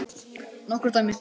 Nokkur dæmi.